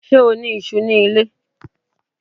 Ṣé o ní iṣú ní ilé?